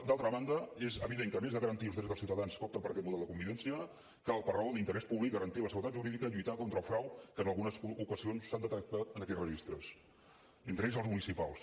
d’altra banda és evident que a més de garantir els drets dels ciutadans que opten per aquest model de convivència cal per raó d’interès públic garantir la seguretat jurídica i lluitar contra el frau que en algunes ocasions s’han detectat en aquests registres entre ells els municipals